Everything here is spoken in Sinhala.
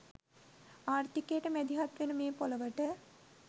ආර්ථිකයට මැදිහත් වෙන මේ ‍පොළොවට